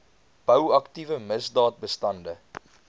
bou aktiewe misdaadbestande